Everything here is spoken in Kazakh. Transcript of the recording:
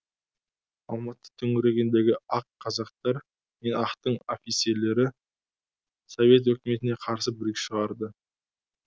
алматы төңірегіндегі ақ казактар мен ақтың офицерлері совет өкіметіне қарсы бүлік шығарды